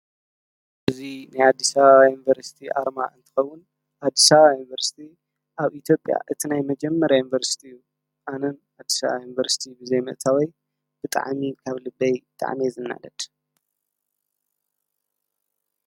እዚ ናይ ኣዲስ ኣበባ ዩኒቨርሲቲ ኣርማ እንትከዉን ኣዲስ ኣበባ ዩንቨርሲቲ ኣብ ኢትዮጲያ እቲ ናይ መጀምርያ ዩንቨርሲቲ እዩ ኣነ ኣዲስ ኣበባ ዩንቨርሲቲ ብዘይ ምእታው ብጣዕሚ ካብ ልበይ እየ ዝናደድ።